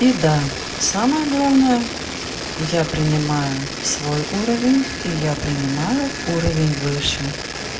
беда самое главное я принимаю свой уровень и я принимаю уровень выше